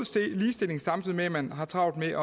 ligestilling samtidig med at man har travlt med at